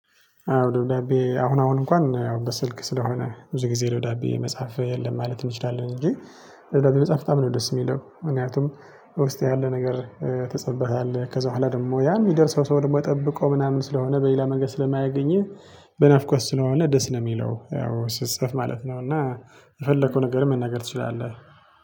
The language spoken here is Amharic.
አዎ ደብዳቤ አሁን አሁን እንኳን ያው በስልክ ስለሆነ ብዙ ጊዜ ደብዳቤ መጻፍ የለም ማለት እንችላለን እንጂ። ደብዳቤ መጽሐፍ በጣም ነው ደስ የሚለው ምክንያቱም። ውስጥ ያለ ነገር ተጽፋበታለ ከዛ ኋላ ደግሞ ያ የሚደርሰው ሰው ደግሞ ጠብቆ ምናምን ስለሆነ በሌላ መንገድ ስለማያገኝህ። በናፍቆት ስለሆነ ደስ ነው የሚለው ያው ስጸፍ ማለት ነው። እና የፈለከው ነገርም መናገር ትችላለህ።